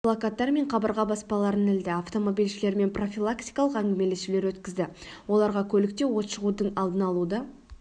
плакаттар мен қабырға баспаларын ілді автомобильшілермен профилактикалық әңгімелесулер өткізді оларға көлікте от шығудың алдын алуды